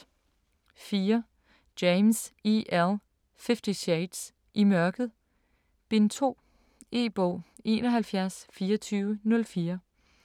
4. James, E. L.: Fifty shades: I mørket: Bind 2 E-bog 712404